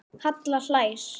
Halla hlær.